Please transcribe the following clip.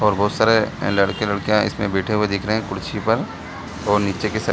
बहुत सारे लड़के लड़कियां इसमें बैठे हुए दिख रहे हैं कुर्सी पे और नीचे के साइड --